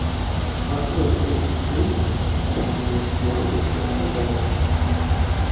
какой курс фунта к китайскому юаню в краснодаре